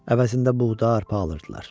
Əvəzində buğda, arpa alırdılar.